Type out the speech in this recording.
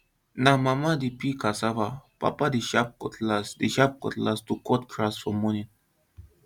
na mama dey peel cassava papa dey sharp cutlass dey sharp cutlass to cut grass for morning